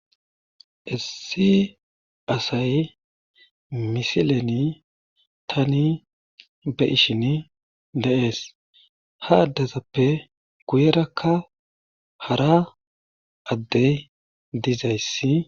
Issi asay misileni tani be7ishini de7ees ha addezappe guyerakka hara addey dizayssi.